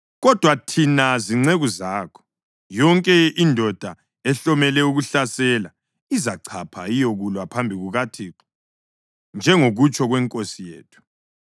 Kodwa thina zinceku zakho, yonke indoda ehlomele ukuhlasela, izachapha iyekulwa phambi kukaThixo, njengokutsho kwenkosi yethu.”